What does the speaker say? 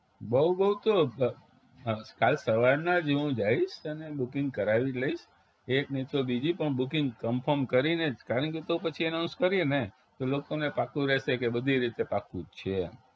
બવ બવ તો કાલ સવારના જ હું જાઈશ અને booking કરાવી લઈશ એક નહિ તો બીજી પણ booking confirm કરીને જ કારણ કે તો પછી announce કરીએને તો લોકોને પાક્કું રેહશે કે બધી રીતે પાક્કું જ છે એમ